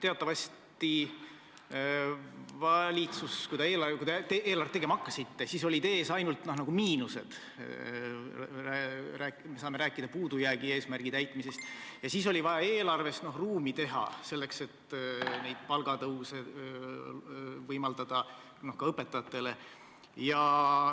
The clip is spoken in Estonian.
Teatavasti, kui valitsus eelarvet tegema hakkas, siis olid ees ainult nagu miinused, me saime rääkida puudujäägi eesmärgi täitmisest, ja siis oli vaja eelarves ruumi teha, selleks et võimaldada palgatõuse, ka õpetajatele.